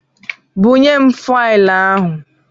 Bunyem faịlụ ahụ!